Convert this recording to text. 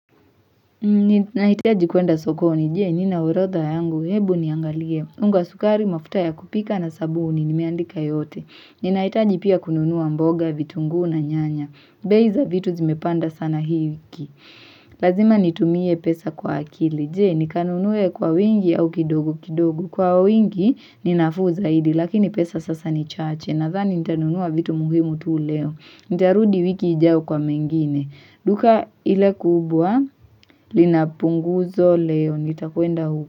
Ni nahitaji kuenda sokoni, je, nina urodha yangu, hebu niangalie, unga sukari, mafuta ya kupika na sabuni, nimeandika yote, ni nahitaji pia kununua mboga, vitunguu na nyanya, bei za vitu zimepanda sana hii wiki, Lazima nitumie pesa kwa akili. Je, nikanunue kwa uwingi au kidogo kidogu, kwa uwingi ninafuu zaidi, lakini pesa sasa ni chaache, nadhani nitanunua vitu muhimu tu leo, nitarudi wiki ijayo kwa mengine, duka ile kubwa, linapunguzo leo nitakuenda huko.